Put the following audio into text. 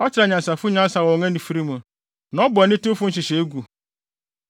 Ɔkyere anyansafo wɔ wɔn anifere mu, na ɔbɔ anitewfo nhyehyɛe gu.